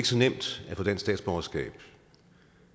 så nemt at få dansk statsborgerskab